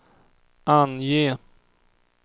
ange